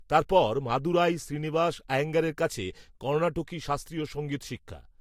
তার পর, মাদুরাই, শ্রীনিবাস, আয়েঙ্গারের কাছে, কর্ণাটকি শাস্ত্রীয় সঙ্গীত শিক্ষা